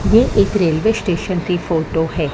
ये एक railway station की फोटो है।